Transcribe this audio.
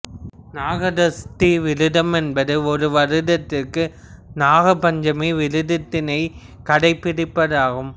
நாகதஷ்ட விரதம் என்பது ஒரு வருடத்திற்கு நாகபஞ்சமி விரத்தினை கடைபிடிப்பதாகும்